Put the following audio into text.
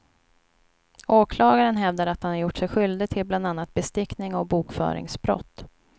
Åklagaren hävdar att han gjort sig skyldig till bland annat bestickning och bokföringsbrott.